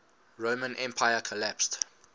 roman empire collapsed